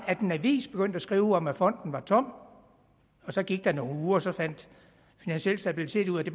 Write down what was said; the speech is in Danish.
en avis begyndte at skrive om at fonden var tom så gik der nogle uger og så fandt finansiel stabilitet ud af at de